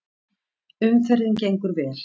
Umferðin gengur vel